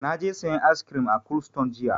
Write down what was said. Na je sayan ice cream a cold stone jiya.